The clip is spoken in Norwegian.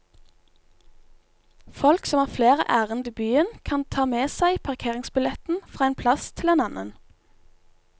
Folk som har flere ærend i byen, kan ta med seg parkeringsbilletten fra én plass til en annen.